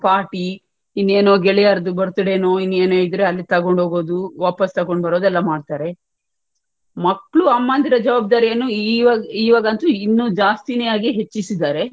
party ಇನ್ನೇನೋ ಗೆಳೆಯರದ್ದು birthday ನೋ ಇನ್ನೆನ್ನೋ ಇದ್ರೆ ಅಲ್ಲಿ ತಗೊಂಡು ಹೋಗುದು ವಾಪಾಸ್ ತಗೊಂಡು ಹೋಗುದೆಲ್ಲಾ ಮಾಡ್ತಾರೆ ಮಕ್ಳು ಅಮ್ಮಂದಿರ ಜವಾಬ್ದಾರಿ ಅನ್ನುಈವಾಗ ಈವಾಗಂತೂ ಇನ್ನು ಜಾಸ್ತಿನೇ ಆಗಿ ಹೆಚ್ಚಿಸಿದ್ದಾರೆ.